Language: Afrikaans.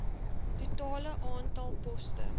totale aantal poste